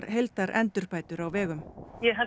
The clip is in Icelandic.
heildarendurbætur á vegum ég held